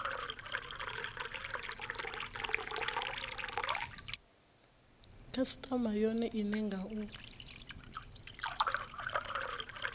khasitama yone ine nga u